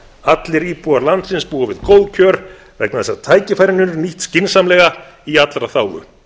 allir íbúar landsins búa við góð kjör vegna þess að tækifærin eru nýtt skynsamlega og í allra þágu